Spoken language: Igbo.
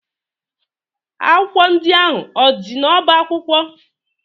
Akwụkwọ ndị ahụ o dị n'ọba akwụkwọ?